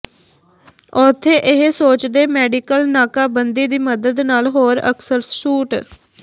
ਉਥੇ ਇਹ ਸੋਚਦੇ ਮੈਡੀਕਲ ਨਾਕਾਬੰਦੀ ਦੀ ਮਦਦ ਨਾਲ ਹੋਰ ਅਕਸਰ ਸ਼ੂਟ